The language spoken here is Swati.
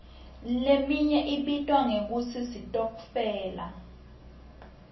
leminye ibitwa ngekutsi sitokfela